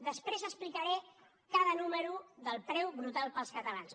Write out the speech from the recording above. després explicaré cada número del preu brutal per als catalans